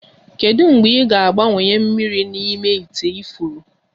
Kedu mgbe ị ga-agbanwe mmiri n'ime ite ifuru?